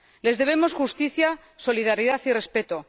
Les debemos justicia, solidaridad y respeto.